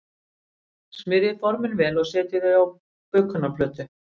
Smyrjið formin vel og setjið þau á bökunarplötu.